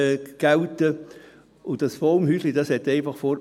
Dieses Baumhäuschen musste einfach weg.